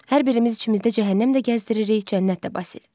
Hər birimiz içimizdə cəhənnəm də gəzdiririk, cənnət də Basil.